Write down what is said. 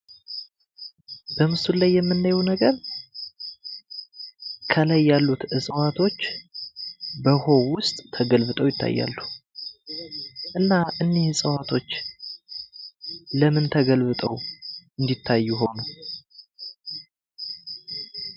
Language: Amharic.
በምስሉ ላይ የምናየው ነገር ከላይ ያሉት እጽዋቶች በውሃው ውስጥ ተገልብጠው ይታያሉ። እና አኒህ እጽዋቶች ለምን ተገልብጠው እንድታዩ ሆኑ?